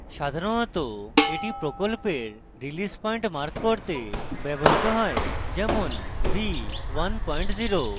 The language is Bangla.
সাধারণত এটি প্রকল্পের release পয়েন্ট mark করতে ব্যবহৃত হয় যেমন v10